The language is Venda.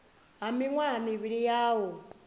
ha miṅwaha mivhili ya u